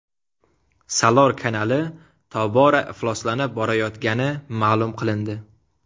Salor kanali tobora ifloslanib borayotgani ma’lum qilindi.